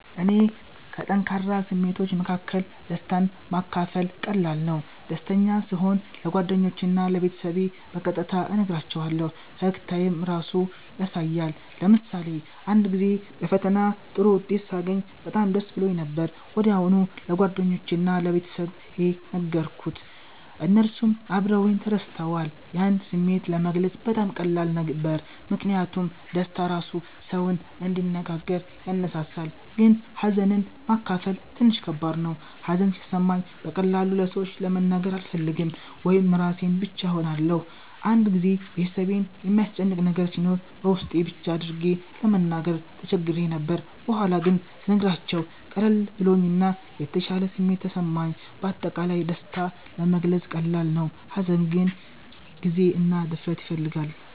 ለእኔ ከጠንካራ ስሜቶች መካከል ደስታን ማካፈል ቀላል ነው። ደስተኛ ስሆን ለጓደኞቼ እና ለቤተሰቤ በቀጥታ እነግራቸዋለሁ፣ ፈገግታዬም ራሱ ያሳያል። ለምሳሌ አንድ ጊዜ በፈተና ጥሩ ውጤት ሳገኝ በጣም ደስ ብሎኝ ነበር። ወዲያው ለጓደኞቼ እና ለቤተሰቤ ነገርኩት፣ እነሱም አብረውኝ ተደስተዋል። ያን ስሜት ለመግለጽ በጣም ቀላል ነበር ምክንያቱም ደስታ ራሱ ሰውን እንዲነጋገር ያነሳሳል። ግን ሀዘንን ማካፈል ትንሽ ከባድ ነው። ሀዘን ሲሰማኝ በቀላሉ ለሰዎች መናገር አልፈልግም ወይም ራሴን ብቻ እሆናለሁ። አንድ ጊዜ ቤተሰቤን የሚያስጨንቅ ነገር ሲኖር በውስጤ ብቻ አድርጌ ለመናገር ተቸግሬ ነበር። በኋላ ግን ስነግራቸው ቀለል ብሎኝ እና የተሻለ ስሜት ተሰማኝ። በአጠቃላይ ደስታ ለመግለጽ ቀላል ነው፣ ሀዘን ግን ጊዜ እና ድፍረት ይፈልጋል።